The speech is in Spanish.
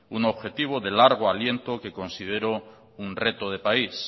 un objetivo de largo aliento que considero un reto de país